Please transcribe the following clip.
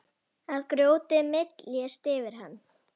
Að grjótið myljist yfir hann.